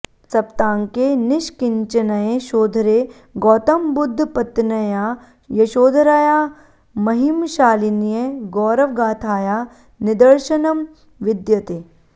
सप्ताङ्के निष्किञ्चनयशोधरे गौतमबुद्धपत्न्या यशोधराया महिमशालिन्या गौरवगाथाया निदर्शनं विद्यते